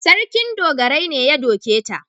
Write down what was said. Sarkin dogarai ne ya doke ta.